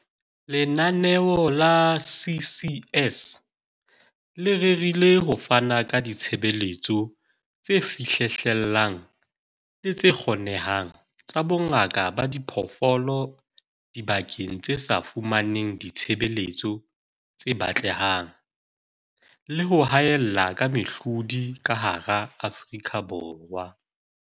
"Lenaneo la CCS le rerile ho fana ka ditshebeletso tse fihlellehang le tse kgonehang tsa bongaka ba diphoofolo dibakeng tse sa fumaneng ditshebeletso tse batlehang le ho haella ka mehlodi ka hara Afrika Borwa."